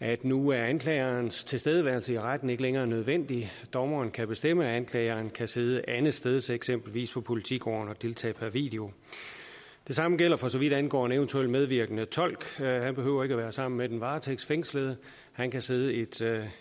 at nu er anklagerens tilstedeværelse i retten ikke længere nødvendig dommeren kan bestemme at anklageren kan sidde andetsteds eksempelvis på politigården og deltage per video det samme gælder for så vidt angår en eventuel medvirkende tolk han behøver ikke at være sammen med den varetægtsfængslede han kan sidde et tredje